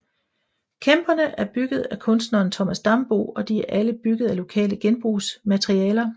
Kæmperne er bygget af kunstneren Thomas Dambo og de er alle bygget af lokale genbrugsmaterialer